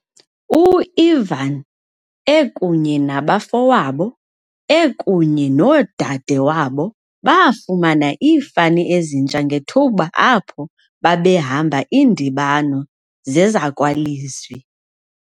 U-Ivan, ekunye nabafowabo ekunye noodadewabo, baafumana iifani ezintsha ngethuba apho babehamba iindibano zezakwalizwi.